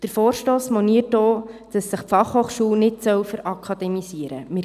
Der Vorstoss moniert auch, dass sich die BFH nicht «verakademisieren» soll.